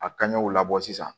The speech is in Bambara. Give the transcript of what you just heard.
A kaɲew labɔ sisan